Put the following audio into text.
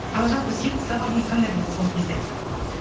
ал жалпы сүйікті сабағыңыз қандай болды сол кезде